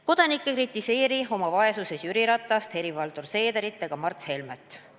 Kodanik ei kritiseeri oma vaesuses Jüri Ratast, Helir-Valdor Seederit ega Mart Helmet.